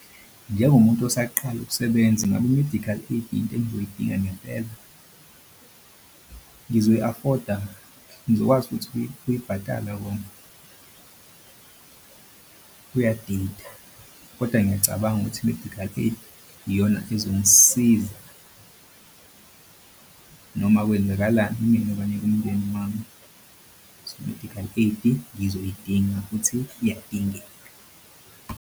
Njengomuntu osaqala ukusebenza ngabe i-medical aid into engizoyidinga ngempela, ngizoyi-afford-a, ngizokwazi futhi ukuyibatala kona? Kuyadida kodwa ngiyacabanga ukuthi i-medical aid iyona ezongisiza noma kwenzekalani kumina okanye kumndeni wami so i-medical aid-i ngizoyidinga futhi iyadingeka.